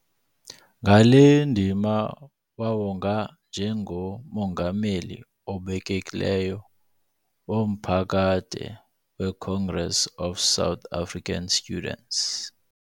Ngale ndima wawongwa njengoMongameli obekekileyo wanaphakade we-Congress Of South African Students.